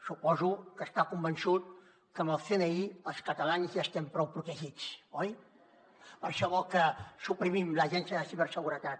suposo que està convençut que amb el cni els catalans ja estem prou protegits oi per això vol que suprimim l’agència de ciberseguretat